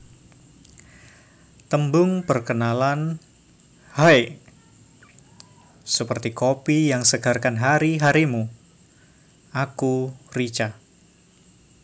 Tembung Perkenalan Haaaaiii seperti kopi yang segarkan hari harimu aku Rica